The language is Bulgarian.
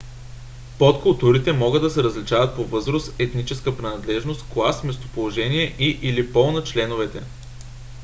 подкултурите могат да се различават по възраст етническа принадлежност клас местоположение и/или пол на членовете